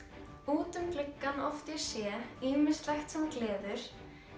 út um gluggann oft ég sé ýmislegt sem gleður